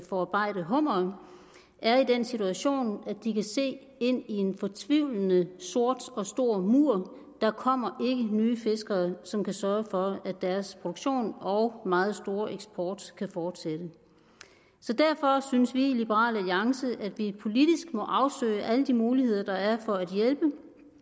forarbejde hummere er i den situation at de kan se ind i en fortvivlende sort og stor mur der kommer nye fiskere som kan sørge for at deres produktion og meget store eksport kan fortsætte derfor synes vi i liberal alliance at vi politisk må afsøge alle de muligheder der er for at hjælpe